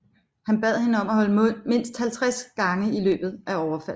Han bad hende om at holde mund mindst 50 gange i løbet af overfaldet